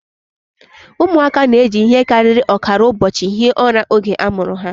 Ụmụaka na-eji ihe karịrị ọkara ụbọchị hie ụra oge a mụrụ ha